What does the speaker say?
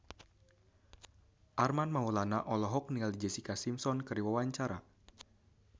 Armand Maulana olohok ningali Jessica Simpson keur diwawancara